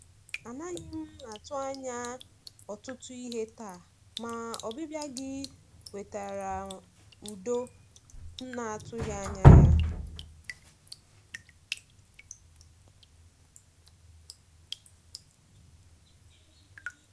A naghị m atụ anya ọtụtụ ihe taa, ma ọbịbịa gị wetara udo m na-atụghị anya ya.